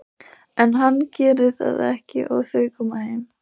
En hann gerir það ekki og þau koma heim.